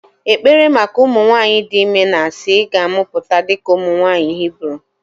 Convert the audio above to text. ekpere maka ụmụ nwanyị dị ime na-asị "ị ga-amụpụta dịka ụmụ nwanyị Hibru"